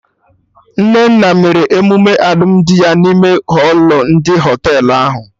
Nnenna mere emume alụmdi ya n'ime họlụ ndị Họtelụ ahụ